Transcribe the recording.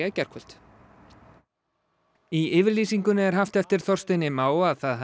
í gærkvöld í yfirlýsingunni er haft eftir Þorsteini Má að það